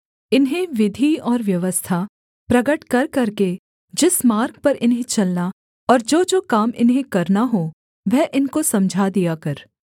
इन्हें विधि और व्यवस्था प्रगट कर करके जिस मार्ग पर इन्हें चलना और जोजो काम इन्हें करना हो वह इनको समझा दिया कर